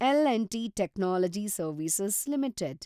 L and T technology service limited